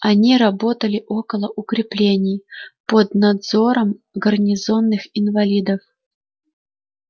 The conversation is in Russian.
они работали около укреплений под надзором гарнизонных инвалидов